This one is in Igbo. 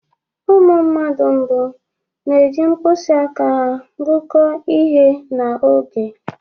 Ụmụ mmadụ mbụ na-eji mkpịsị aka ha gụkọọ ihe na oge.